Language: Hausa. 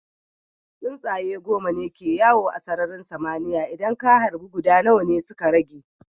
Tsuntsaye goma ne ke yawo a sararin sama, idan ka harba guda nawa ne suka rage?